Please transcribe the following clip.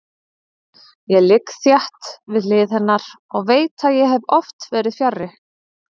Ég ligg þétt við hlið hennar og veit að ég hef oft verið fjarri.